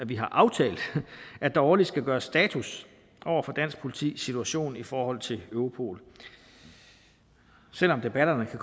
vi har aftalt at der årligt skal gøres status over dansk politis situation i forhold til europol selv om debatterne kan